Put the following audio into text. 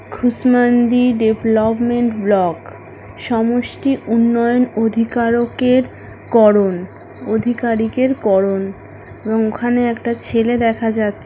খুশমান্দি development block সমষ্টি উন্নয়ন অধিকারকের করন অধিকারিকের করন এবং ওখানে একটা ছেলে দেখা যাচ --